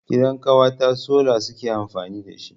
Gidan ƙawata sola suke amfani dashi.